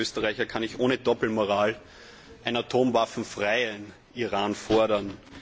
Und als Österreicher kann ich ohne Doppelmoral einen atomwaffenfreien Iran fordern.